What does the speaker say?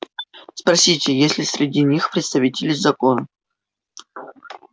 спросите есть ли среди них представители закона